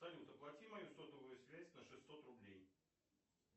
салют оплати мою сотовую связь на шестьсот рублей